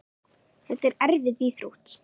Þetta er erfið íþrótt.